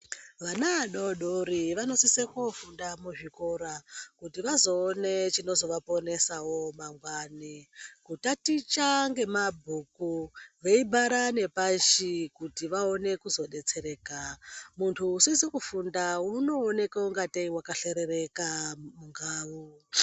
Vana adodori vanosisa kofunda muzvikora kuti vazoone chinozovaponesawo mangwani. Utaticha ngemabhuku veipara ngepashi kuti vaone kuzodetsereka. Mundu usizi kufunda unoeneka ngatei wakahlerereka mundau.